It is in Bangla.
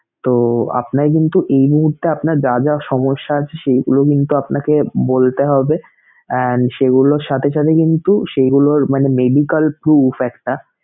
তো আপনার কিন্তু এই মুহূর্তে আপনার যা যা সমস্যা আছে সেইগুলো কিন্তু আপনাকে বলতে হবে and সেইগুলোর সাথে সাথে কিন্তু সেইগুলোর মানে medical prove fact টা